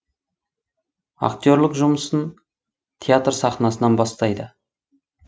актерлік жұмысын театр сахнасынан бастайды